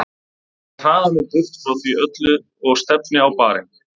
Ég hraða mér burt frá því öllu og stefni á barinn.